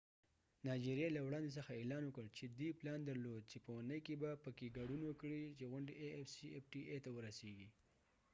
نایجیریا له وړندې څځه اعلان وکړ چې دې پلان درلود چې په اونۍ کې به په afcfta کې ګډون وکړي چې غونډې ته ورسیږي